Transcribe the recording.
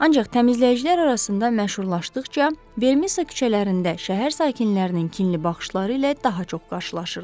Ancaq təmizləyicilər arasında məşhurlaşdıqca Vermisa küçələrində şəhər sakinlərinin kinli baxışları ilə daha çox qarşılaşırdı.